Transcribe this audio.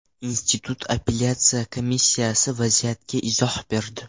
Institut apellyatsiya komissiyasi vaziyatga izoh berdi.